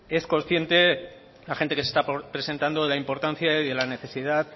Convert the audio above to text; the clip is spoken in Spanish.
es consciente la gente que se está presentando de la importancia y la necesidad